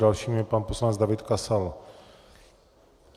Dalším je pan poslanec David Kasal.